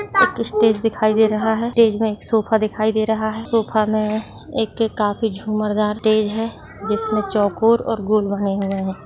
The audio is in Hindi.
एक स्टेज दिखाई दे रहा है स्टेज में एक सोफा दिखाई दे रहा है सोफा में एक काफी झुमरदार टेज है जिसमें चौकोर और गोल बने हुए हैं।